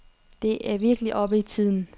Det er virkelig oppe i tiden.